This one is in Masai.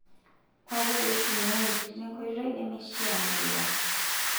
ore ake peitumiai enteritte nkoitoi nmeishiaa nebulaa